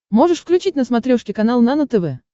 можешь включить на смотрешке канал нано тв